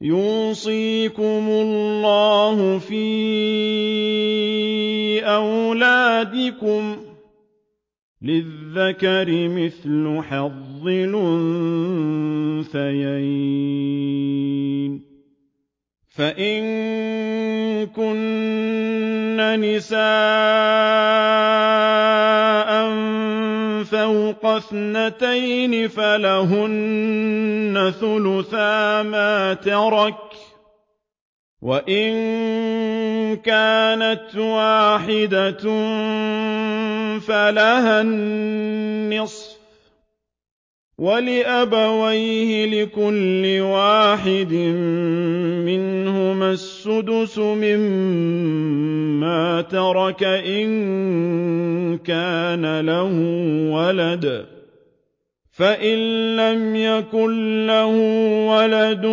يُوصِيكُمُ اللَّهُ فِي أَوْلَادِكُمْ ۖ لِلذَّكَرِ مِثْلُ حَظِّ الْأُنثَيَيْنِ ۚ فَإِن كُنَّ نِسَاءً فَوْقَ اثْنَتَيْنِ فَلَهُنَّ ثُلُثَا مَا تَرَكَ ۖ وَإِن كَانَتْ وَاحِدَةً فَلَهَا النِّصْفُ ۚ وَلِأَبَوَيْهِ لِكُلِّ وَاحِدٍ مِّنْهُمَا السُّدُسُ مِمَّا تَرَكَ إِن كَانَ لَهُ وَلَدٌ ۚ فَإِن لَّمْ يَكُن لَّهُ وَلَدٌ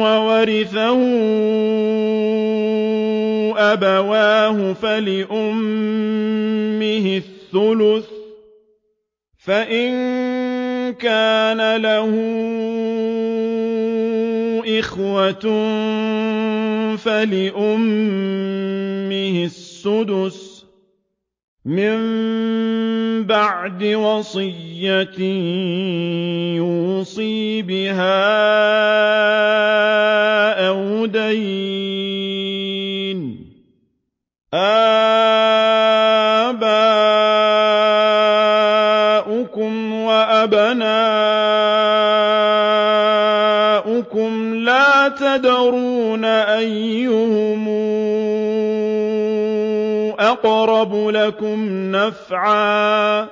وَوَرِثَهُ أَبَوَاهُ فَلِأُمِّهِ الثُّلُثُ ۚ فَإِن كَانَ لَهُ إِخْوَةٌ فَلِأُمِّهِ السُّدُسُ ۚ مِن بَعْدِ وَصِيَّةٍ يُوصِي بِهَا أَوْ دَيْنٍ ۗ آبَاؤُكُمْ وَأَبْنَاؤُكُمْ لَا تَدْرُونَ أَيُّهُمْ أَقْرَبُ لَكُمْ نَفْعًا ۚ فَرِيضَةً مِّنَ اللَّهِ ۗ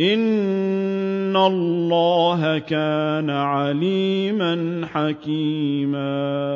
إِنَّ اللَّهَ كَانَ عَلِيمًا حَكِيمًا